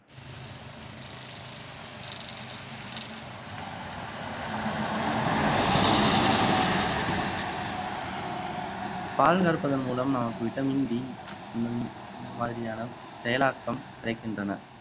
பால் கறப்பதன் மூலம் நமக்கு vitamin D ஹம் இந்த மாதிரியான செயலாக்கம் கிடைக்கின்றன